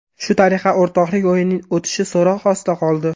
Shu tariqa o‘rtoqlik o‘yinining o‘tishi so‘roq ostida qoldi.